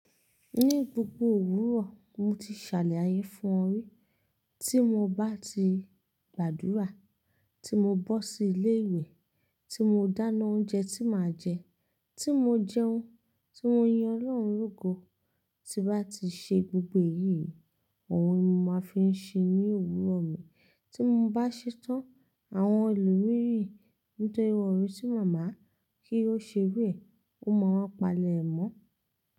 Ní gbogbo òwúrọ̀, mo ti ṣàlàyé fún ọ rí, tí mo bá ti gbàdúrà, tí mo bọ́ sí ilé ìwé, tí mo dáná oúnjẹ tí màá jẹ, tí mo jẹun, tí mo yin Ọlọ́run lógo, tí bá ti ṣe gbogbo èyí, àwọn ohun ní mo máa fi ń ṣe ní òwúrọ̀ mi, tí mo bá ṣetán, àwọn ẹlòmírì n tẹ ìwọ́rí sí màmá kí ó ṣebé, ó máa palẹ̀ ẹ mọ́